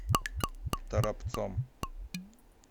торопцом